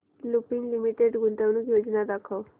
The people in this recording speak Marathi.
लुपिन लिमिटेड गुंतवणूक योजना दाखव